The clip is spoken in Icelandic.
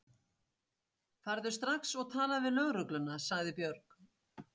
Farðu strax og talaðu við lögregluna, sagði Björg.